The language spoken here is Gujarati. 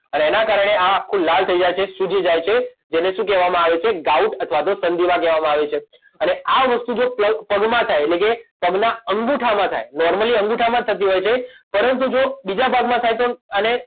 અને એના કારણે આ આખું લાલ થઇ જાય છે સૂજી જાય છે જેને શું કહેવામાં આવે છે ગાઉટ અથવા તો સંધિવા કહેવામાં આવે છે અને આ વસ્તુ જો પ્લગ પગમાં થાય એટલે કે પગના અંગૂઠામાં થાય નોર્મલી અંગૂઠામાં જ થતી હોય છે પરંતુ જો બીજા ભાગમાં થાય તો અઆને